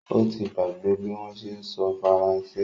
Ó ti gbàgbé bí wọ́n ṣé ń sọ Faransé